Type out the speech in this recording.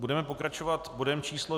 Budeme pokračovat bodem číslo